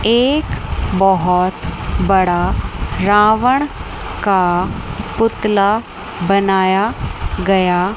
एक बहुत बड़ा रावण का पुतला बनाया गया --